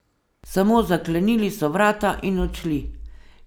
Samo zaklenili so vrata in odšli.